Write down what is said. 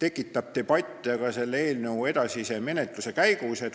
tekitab debatte ka selle eelnõu edasise menetluse käigus.